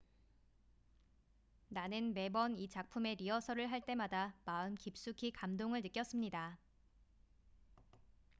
"""나는 매번 이 작품의 리허설을 할 때마다 마음 깊숙이 감동을 느꼈습니다"".